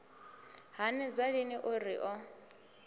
hanedza lini o ri o